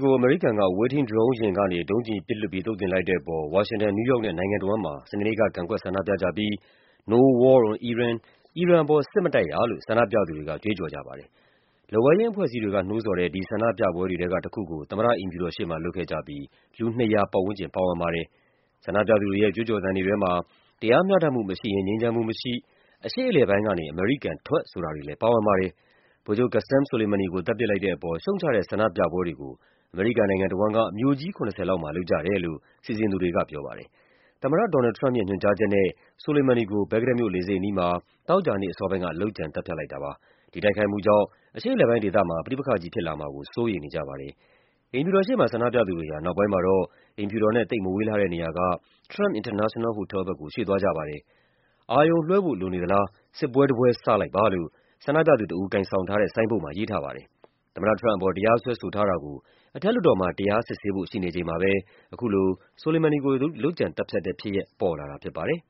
ကို အမေရိကန်က အဝေးထိန်းဒရုံးယာဉ်ကနေ ဒုံးကျည်ပစ်လွှတ်ပြီး သုတ်သင်လိုက်တဲ့အပေါ် ဝါရှင်တန်၊ နယူးယောက်နဲ့ နိုင်ငံတဝန်းမှာ စနေနေ့က ကန့်ကွက်ဆန္ဒပြကြပြီး “no war on iran” “အီရန်ပေါ် စစ်မတိုက်ရ” လို့ ဆန္ဒပြသူတွေက ကြွေးကြော်ကြပါတယ်။ လက်ဝဲယိမ်းအဖွဲ့အစည်းတွေက နှိုးဆော်တဲ့ ဒီဆန္ဒပြပွဲတွေထဲကတခုကို သမ္မတအိမ်ဖြူတော် ရှေ့မှာ လုပ်ခဲ့ကြပြီး လူ ၂၀၀ ပတ်ဝန်းကျင်ပါဝင်ပါတယ်။ ဆန္ဒပြသူတွေရဲ့ ကြွေးကြော်သံတွေ ထဲမှာ “တရားမျှတမှုမရှိရင် ငြိမ်းချမ်းမှုမရှိ၊ အရှေ့အလယ်ပိုင်းကနေ အမေရိကန်ထွက်” ဆိုတာတွေလည်း ပါဝင်ပါတယ်။ ဗိုလ်ချုပ် Qasem Soleimani ကို သတ်ပစ်လိုက်တဲ့အပေါ် ရှုတ်ချတဲ့ဆန္ဒပြပွဲတွေကို အမေရိကန် နိုင်ငံတဝန်းက မြို့ကြီး ၇၀ လောက်မှာ လုပ်ကြတယ်လို့ စီစဉ်သူတွေကပြောပါတယ်။ သမ္မတ Donald Trump ရဲ့ ညွှန်ကြားချက်နဲ့ Soleimani ကို ဘဂ္ဂဒက်မြို့ လေဆိပ်အနီးမှာ သောကြာနေ့အစောပိုင်းက လုပ်ကြံသတ်ဖြတ်လိုက်တာပါ။ ဒီတိုက်ခိုက်မှုကြောင့် အရှေ့အလယ်ပိုင်းဒေသမှာ ပဋိပက္ခကြီးဖြစ်လာမှာကို စိုးရိမ်နေကြပါတယ်။ အိမ်ဖြူတော်ရှေ့မှာ ဆန္ဒပြသူတွေဟာ နောက်ပိုင်းမှာတော့ အိမ်ဖြူတော်နဲ့ သိပ်မဝေးလှတဲ့နေရာက Trump International Hotel ဘက်ကို ရွှေ့သွားကြပါတယ်။ “အာရုံလွှဲဖို့ လိုနေသလား၊ စစ်ပွဲတပွဲ စလိုက်ပါ” လို့ ဆန္ဒပြသူတဦး ကိုင်ဆောင်ထားတဲ့ ဆိုင်းဘုတ်မှာ ရေးထားပါတယ်။ သမ္မတ Trump အပေါ် တရားစွဲထားတာကို အထက်လွှတ်တော်မှာ တရားစစ်ဆေးဖို့ ရှိနေချိန်မှာပဲ အခုလို Soleimani ကို လုပ်ကြံသတ်ဖြတ်တဲ့ဖြစ်ရပ် ပေါ်လာတာဖြစ်ပါတယ်။